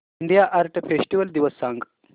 India art festival दिवस सांग